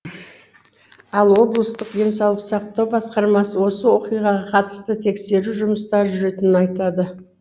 ал облыстық денсаулық сақтау басқармасы осы оқиғаға қатысты тексеру жұмыстары жүретінін айтады